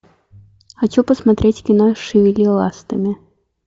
хочу посмотреть кино шевели ластами